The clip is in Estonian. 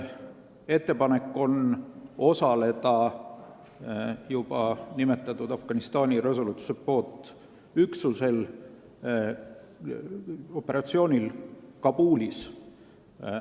Ettepanek on osaleda juba nimetatud Afganistani Resolute Support üksuse operatsioonil Kabulis.